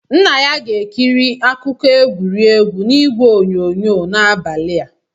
Nna ya ga-ekiri akụkọ egwuregwu na ịgwe onyonyo n'abalị a.